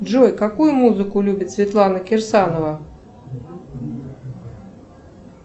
джой какую музыку любит светлана кирсанова